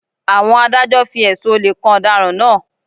Àwọn Adájọ́ fi ẹ̀sùn olè kan ọ̀daràn náà